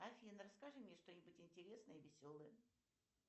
афина расскажи мне что нибудь интересное и веселое